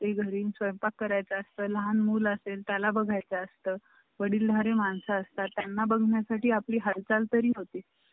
घरी स्वयंपाक करायचा असतो, लहान मूल असेल त्याला बघाय चं असतं, वडीलधा री माणसं असतात त्यांना बघण्या साठी आपली हालचाल तरी होती